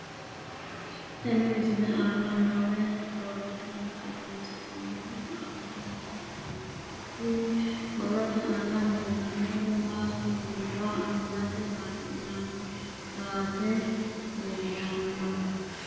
Tenne misile aana noore borroteni xawiseemohu aane noo gariniiti. Kunni borrote aana leelanori maati yiniro angate ga'ninanni saate leeltanni no.